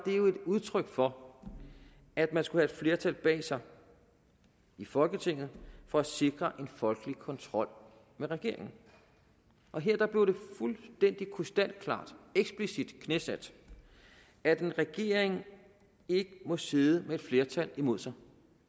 udtryk for at man skulle have et flertal bag sig i folketinget for at sikre en folkelig kontrol med regeringen og her blev det fuldstændig krystalklart eksplicit knæsat at en regering ikke må sidde med et flertal imod sig